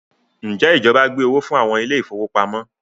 Njẹ ìjọba gbé owó fún àwọn ile-ìfowópamó?